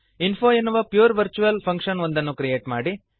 info ಎನ್ನುವ pure virtual function ಒಂದನ್ನು create ಮಾಡಿರಿ